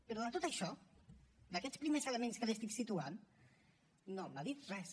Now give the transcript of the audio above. però de tot això d’aquests primers elements que li estic situant no me n’ha dit res